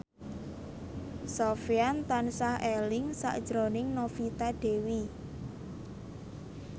Sofyan tansah eling sakjroning Novita Dewi